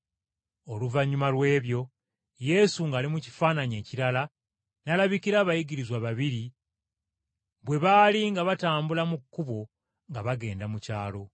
Oluvannyuma lw’ebyo, Yesu ng’ali mu kifaananyi kirala n’alabikira abayigirizwa babiri bwe baali nga batambula mu kkubo nga bagenda mu kyalo.